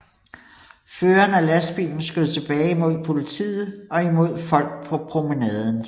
Føreren af lastbilen skød tilbage imod politiet og imod folk på promenaden